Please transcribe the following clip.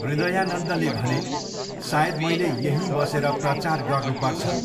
हृदयानन्दले भने, सायद मैले यहीँ बसेर प्रचार गर्नुपर्छ।